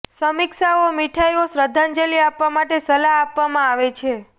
સમીક્ષાઓ મીઠાઈઓ શ્રદ્ધાંજલિ આપવા માટે સલાહ આપવામાં આવે છે